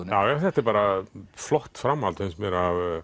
já þetta er bara flott framhald finnst mér